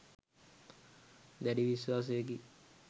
දැඩි විශ්වාසයකි.